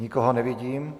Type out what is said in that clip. Nikoho nevidím.